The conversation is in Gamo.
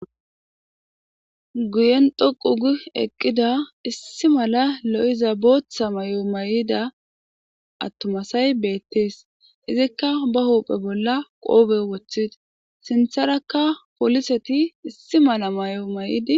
guyen dhoqug eqqida issi mala lo7izabotha may7o may7ida attumasay beettees izikka ba hophe bolla qoobe woththida sintharakka poliseti issi mala may7o may7idi